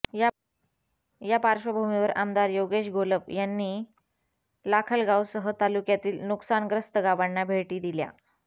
या पार्श्वभूमीवर आमदार योगेश घोलप यांनी लाखलगावसह तालुक्यातील नुकसानग्रस्त गावांना भेटी दिल्या